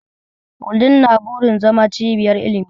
Wudil na burin zama cibiyar ilimi.